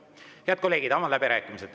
Head kolleegid, avan läbirääkimised.